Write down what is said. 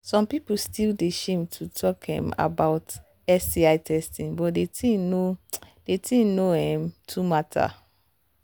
some people still they shame to talk um about sti testing but the thing no the thing no um too matter